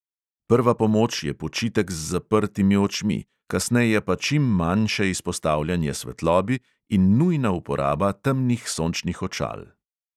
Prva pomoč je počitek z zaprtimi očmi, kasneje pa čim manjše izpostavljanje svetlobi in nujna uporaba temnih sončnih očal.